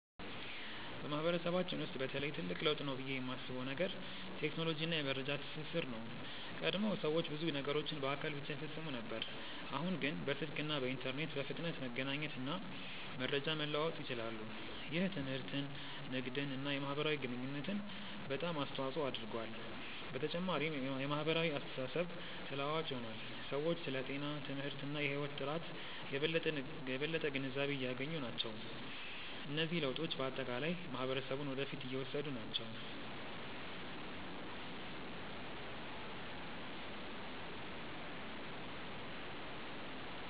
በማህበረሰባችን ውስጥ በተለይ ትልቅ ለውጥ ነው ብዬ የማስበው ነገር ቴክኖሎጂ እና የመረጃ ትስስር ነው። ቀድሞ ሰዎች ብዙ ነገሮችን በአካል ብቻ ይፈጽሙ ነበር፣ አሁን ግን በስልክ እና በኢንተርኔት በፍጥነት መገናኘት እና መረጃ መለዋወጥ ይችላሉ። ይህ ትምህርትን፣ ንግድን እና የማህበራዊ ግንኙነትን በጣም አስተዋፅኦ አድርጓል። በተጨማሪም የማህበራዊ አስተሳሰብ ተለዋዋጭ ሆኗል፤ ሰዎች ስለ ጤና፣ ትምህርት እና የህይወት ጥራት የበለጠ ግንዛቤ እያገኙ ናቸው። እነዚህ ለውጦች በአጠቃላይ ማህበረሰቡን ወደ ፊት እየወሰዱ ናቸው።